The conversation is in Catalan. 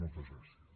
moltes gràcies